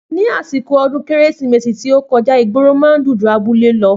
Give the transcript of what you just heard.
Ni àsìkò odún kérésìmesì tí ọ kọjá ìgboro man dùn jù abúlé lọ